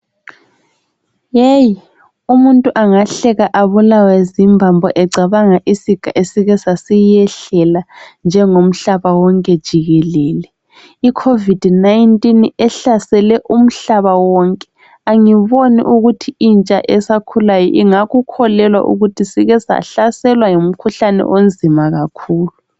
Umuntu engahleka ebulawe zimbambo ecabanga isiga esike sasiyehlela njengo mhlaba wonke jikelele icovid 19 ehlasele umhlaba wonke angiboni ukuthi intsha esakhulayo ingakukholelwa ukuthi sikesahlaselwa ngumkhuhlane onzima kakhulu